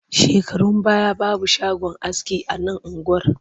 Shekarun baya babu shagon aski a nan unguwar